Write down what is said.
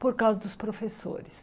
Por causa dos professores.